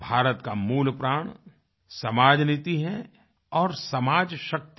भारत का मूलप्राण समाजनीति है और समाजशक्ति है